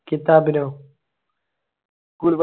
കിത്താബിനൊ